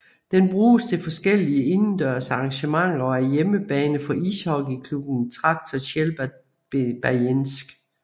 Den bruges til forskellige indendørs arrangementer og er hjemmebane for ishockeyklubben Traktor Tjeljabinsk